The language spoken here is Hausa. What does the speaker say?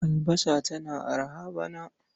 Albasa tana araha bana.